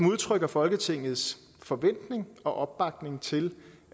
udtrykker folketingets forventning og opbakning til